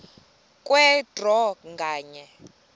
kwe draw nganye